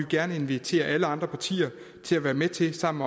gerne invitere alle andre partier til at være med til sammen